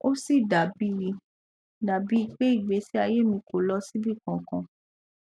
ó sì dà bíi dà bíi pé ìgbésí ayé mi kò lọ síbì kankan